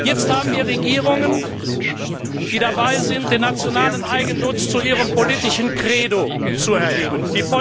Jetzt haben wir Regierungen, die dabei sind, den nationalen Eigennutz zu ihrem politischen Credo zu erheben.